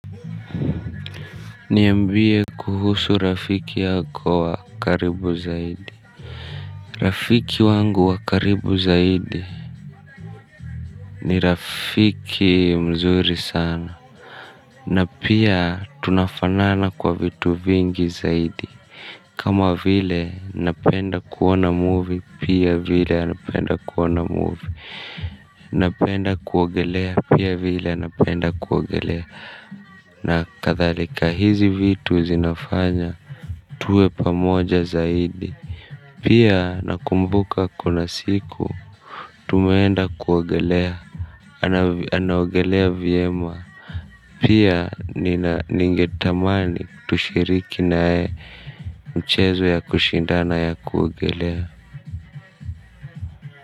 Niambie kuhusu rafiki yako wa karibu zaidi. Rafiki wangu wa karibu zaidi ni rafiki mzuri sana. Na pia tunafanana kwa vitu vingi zaidi. Kama vile napenda kuona movie pia vile anapenda kuona movie. Napenda kuogelea pia vile anapenda kuogelea. Na kathalika hizi vitu zinafanya tuwe pamoja zaidi. Pia nakumbuka kuna siku tumeenda kuogelea. Anaogelea viema pia ningetamani tushiriki naye mchezo ya kushindana ya kuogelea.